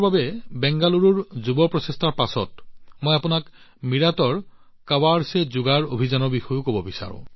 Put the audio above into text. বেংগালুৰুত youth for পৰিৱৰ্তনৰ পিছত মই আপোনাক মীৰাটৰ কাবাড় চে জুগাড় অভিযানৰ বিষয়েও কব বিচাৰো